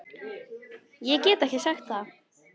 Ég get ekki sagt það